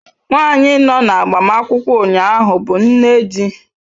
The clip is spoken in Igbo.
Nwanyị nọ na agbamakwụkwọ ụnyaahụ bụ nne di.